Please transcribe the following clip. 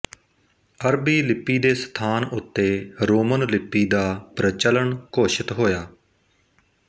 ਅਰਬੀ ਲਿਪੀ ਦੇ ਸਥਾਨ ਉੱਤੇ ਰੋਮਨ ਲਿਪੀ ਦਾ ਪ੍ਰਚਲਨ ਘੋਸ਼ਿਤ ਹੋਇਆ